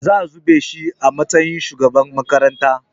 Zaa zaɓe shi a matsayin shugaban makaranta